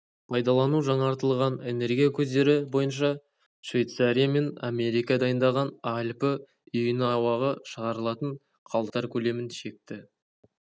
пайдалану жаңартылған энергия көздері бойыншашвейцария мен америка дайындаған альпі үйін ауаға шығарылатын қалдықтар көлемін шекті